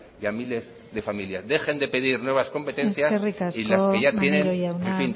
y a miles de familias dejen de pedir nuevas competencias y las que ya tienen en fin